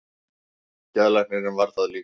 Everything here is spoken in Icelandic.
Geðlæknirinn varð það líka.